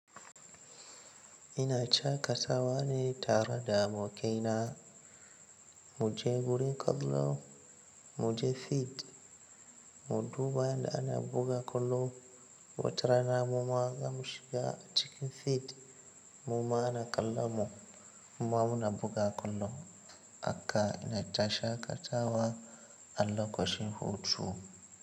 Ina shaƙatawa ne tare da abokaina mu je gurin kallo mu je field, mu duba yadda ana buga kwallo. Watara na mu ma zamu shiga cikin field mu ma ana kallon mu muma muna buga kwallo. Haka na ta shaƙatawa a lokacin hutu.